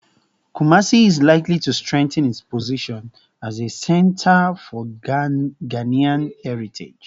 Kumasi is likely to strengthen its position as a center for Ghanaian heritage